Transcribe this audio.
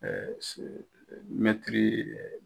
se mɛtiri